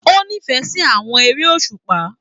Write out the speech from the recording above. O n'ifẹ sí àwọn eré òṣùpá.